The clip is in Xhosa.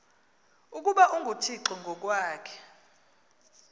ukuba unguthixo ngokwakhe